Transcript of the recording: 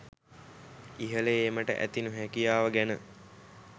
ඉහල ඒමට ඇති නොහැකියාව ගැන